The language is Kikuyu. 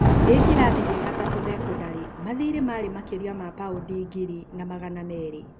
Ndĩ kĩrathi gĩa gatatũ thekondarĩ, mathiirĩ marĩ makĩria ma paũndi ngiri na Magana meerĩ